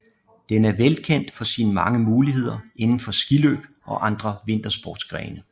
Den er velkendt for sine mange muligheder indenfor skiløb og andre vintersportsgrene